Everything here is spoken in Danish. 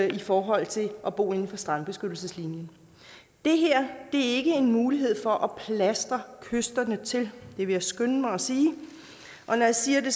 i forhold til at bo inden for strandbeskyttelseslinjen det her er ikke en mulighed for at plastre kysterne til vil jeg skynde mig at sige og når jeg siger det